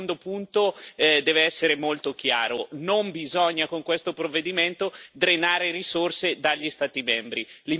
E il secondo punto deve essere molto chiaro non bisogna, con questo provvedimento, drenare risorse dagli Stati membri.